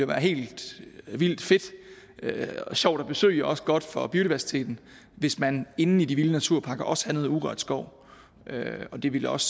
være helt vildt fedt og sjovt at besøge og også være godt for biodiversiteten hvis man inde i de vilde naturparker også havde noget urørt skov og det ville også